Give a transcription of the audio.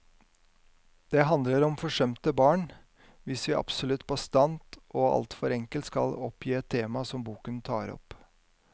Det handler om forsømte barn, hvis vi absolutt bastant og alt for enkelt skal oppgi et tema som boken tar opp.